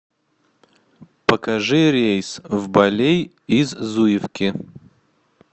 покажи рейс в балей из зуевки